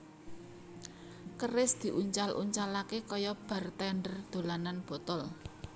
Keris diuncal uncalaké kaya bartender dolanan botol